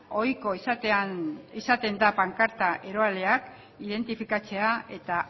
ohiko izaten da pankarta eroaleak identifikatzea eta